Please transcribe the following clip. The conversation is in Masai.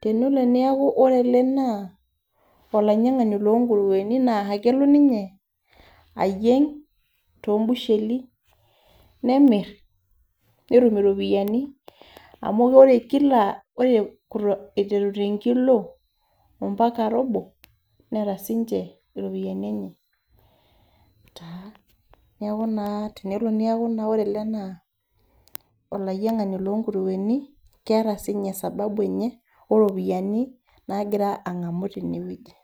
Tenelo niaku ore ele naa olainyang'ani lonkurueni na kelo ninye ayieng' tobusheli, nemir netum iropiyiani, amu ore kila ore iteru tenkilo ampaka robo, neeta sinche iropiyiani enye taa. Neeku taa tenelo niaku ore ele naa olainyang'ani lonkurueni, keeta sinye sababu enye, oropiyiani nagira ang'amu tenewueji.